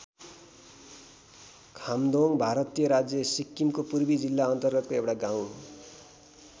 खाम्दोङ्ग भारतीय राज्य सिक्किमको पूर्वी जिल्ला अन्तर्गतको एउटा गाउँ हो।